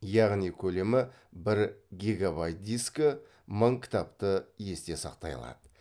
яғни көлемі бір гигабайт дискі мың кітапты есте сақтай алады